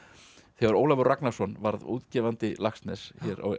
þegar Ólafur Ragnarsson varð útgefandi Laxness